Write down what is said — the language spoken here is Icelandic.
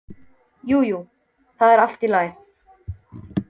Jú, jú, það var allt í lagi.